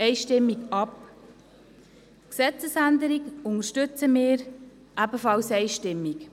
Die Gesetzesänderung unterstützen wir hingegen einstimmig.